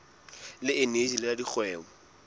le eneji le la dikgwebo